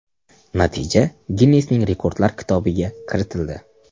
Natija Ginnesning rekordlar kitobiga kiritildi.